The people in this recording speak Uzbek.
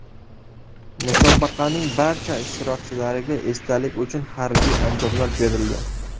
Musobaqaning barcha ishtirokchilariga esdalik uchun harbiy anjomlar berildi.